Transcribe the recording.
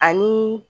Ani